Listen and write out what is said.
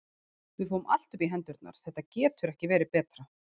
Við fáum allt upp í hendurnar, þetta getur ekki verið betra.